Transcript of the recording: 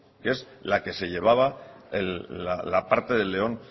que es la que se llevaba la parte del león